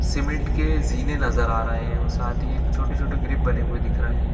Cement के जिने नज़र आ रहे है और साथ ही एक छोटी -छोटी गृप बने हुए दिख रहे है।